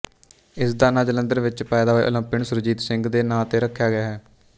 ਇਸਦਾ ਨਾਂ ਜਲੰਧਰ ਵਿੱਚ ਪੈਦਾ ਹੋਏ ਓਲੰਪੀਅਨ ਸੁਰਜੀਤ ਸਿੰਘ ਦੇ ਨਾਂ ਤੇ ਰੱਖਿਆ ਗਿਆ ਹੈ